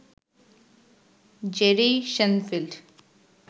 Jerry Shenfield